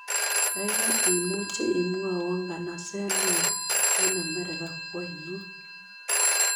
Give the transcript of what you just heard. Kaigai imuche imwawon nganaseet neoo eng' amerika ko ainon